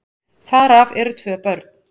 Þar af eru tvö börn.